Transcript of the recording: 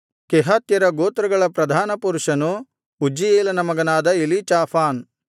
ಕೆಹಾತ್ಯರ ಗೋತ್ರಗಳ ಪ್ರಧಾನಪುರುಷನು ಉಜ್ಜೀಯೇಲನ ಮಗನಾದ ಎಲೀಚಾಫಾನ್